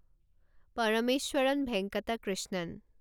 Parameswaran Venkata Krishnan